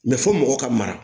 fɔ mɔgɔ ka mara